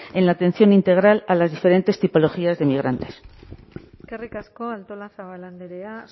en la atención integral a las diferentes tipologías de migrantes eskerrik asko artolazabal andrea